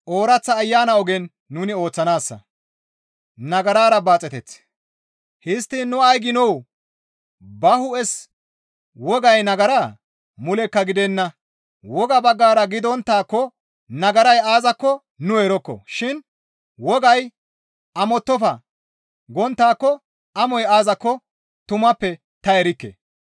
Histtiin nu ay giinoo? Ba hu7es wogay nagaraa? Mulekka gidenna. Woga baggara gidonttaakko nagaray aazakko nu erokko shin; wogay «Amottofa!» gonttaako amoy aazakko tumappe ta erikke.